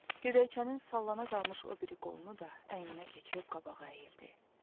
Gödəkçənin sallana qalmış o biri qolunu da əyninə keçirib qabağa əyildi.